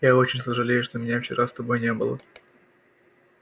я очень сожалею что меня вчера с тобой не было